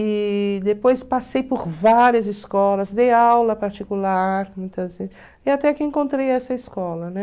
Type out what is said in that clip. E depois passei por várias escolas, dei aula particular, muitas vezes, e até que encontrei essa escola, né?